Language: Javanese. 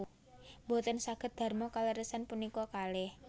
Mboten saged darma kaleresan punika kalih